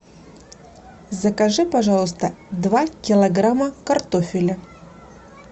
закажи пожалуйста два килограмма картофеля